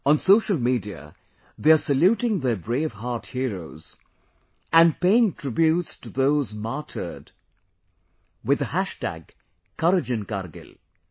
On social media, they are saluting their brave heart heroes and paying tributes to those martyred with the Courage in Kargil